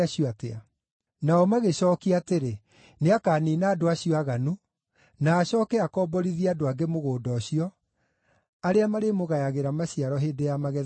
Nao magĩcookia atĩrĩ, “Nĩakaniina andũ acio aaganu, na acooke akomborithie andũ angĩ mũgũnda ũcio, arĩa marĩmũgayagĩra maciaro hĩndĩ ya magetha yakinya.”